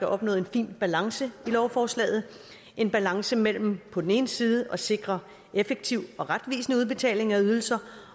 opnået en fin balance i lovforslaget en balance mellem på den ene side at sikre effektiv og retvisende udbetaling af ydelser